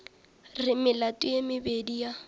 re melato ye mebedi ya